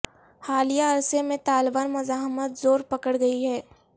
حالیہ عرصے میں طالبان مزاحمت زور پکڑ گئی ہے